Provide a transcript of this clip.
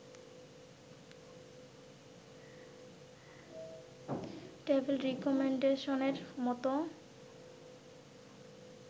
table রিকমেন্ডশনের মতো